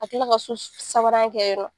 Ka tila ka so sabanan kɛ yɔrɔ